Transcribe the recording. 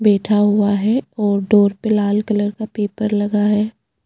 बैठा हुआ है और डोर पर लाल कलर का पेपर लगा है।